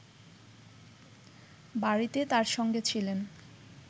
বাড়িতে তার সঙ্গে ছিলেন